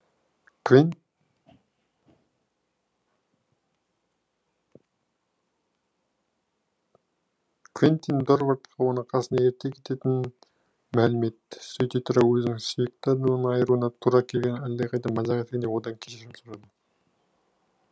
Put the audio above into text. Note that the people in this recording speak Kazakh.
квентин дорвардқа оны қасына ерте кететінін мәлім етті сөйте тұра өзінің сүйікті адамынан айыруына тура келгенін әлдеқайда мазақ еткендей одан кешірім сұрады